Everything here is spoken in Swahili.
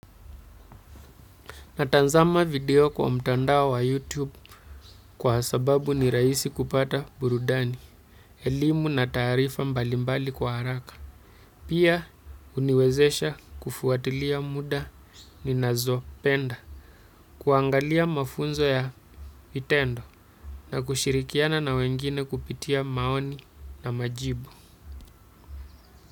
Natanzama video kwa mtandao wa YouTube kwa sababu ni raisi kupata burudani, elimu na tarifa mbalimbali kwa haraka. Pia uniwezesha kufuatilia muda ni nazo penda, kuangalia mafunzo ya vitendo na kushirikiana na wengine kupitia maoni na majibu.